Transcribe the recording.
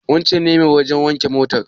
Wancen ne mai wajen wanke motar?